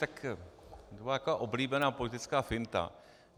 Tak to je taková oblíbená politická finta.